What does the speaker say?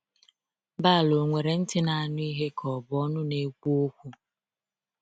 Baal onwere ntị na anụ ihe ka ọ bụ ọnụ na ekwu okwu?